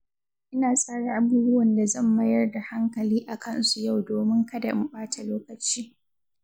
Ina tsara abubuwan da zan mayar da hankali a kansu yau domin kada in ɓata lokaci.